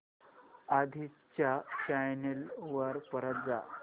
आधी च्या चॅनल वर परत जा